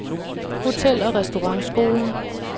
Hotel- og Restaurantskolen